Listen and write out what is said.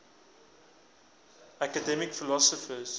academic philosophers